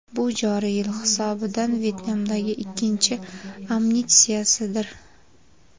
Bu joriy yil hisobidan Vyetnamdagi ikkinchi amnistiyadir.